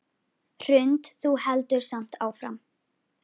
Hrund: Þú heldur samt áfram?